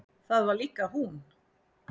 Það var líka hún.